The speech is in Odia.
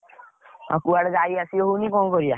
ଆଉ କୁଆଡେ ଯାଇ ଆସି ହଉନି ଆଉ କଣ କରିଆ?